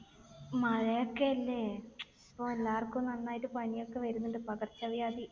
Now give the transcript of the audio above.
മഴയൊക്കെ അല്ലെ? അപ്പൊ എല്ലാവർക്കും നന്നായിട്ട് പനിയൊക്കെ വരുന്നുണ്ട്. പകർച്ചവ്യാധി.